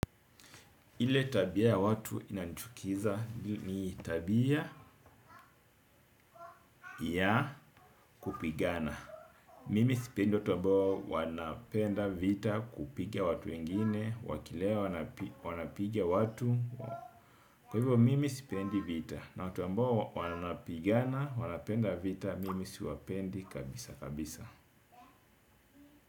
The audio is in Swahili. Ile tabia ya watu inanichukiza ni tabia ya kupigana. Mimi sipendi watu ambao wanapenda vita kupiga watu wengine, wakilewa wanapiga watu. Kwa hivo, mimi sipendi vita na watu ambao wanapigana, wanapenda vita, mimi siwapendi kabisa kabisa.